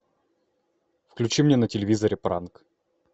включи мне на телевизоре пранк